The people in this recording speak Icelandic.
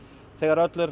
þegar